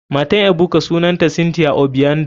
Matan ebuka sunanta cynthia obiando.